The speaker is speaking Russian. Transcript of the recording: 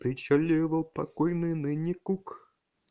причаливал покойный ныне кук